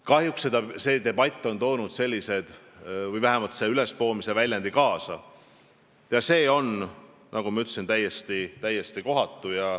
Kahjuks on see debatt vähemalt selle ülespoomise väljendi kaasa toonud ja see on, nagu ma ütlesin, täiesti-täiesti kohatu.